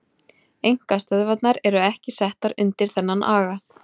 Einkastöðvarnar eru ekki settar undir þennan aga.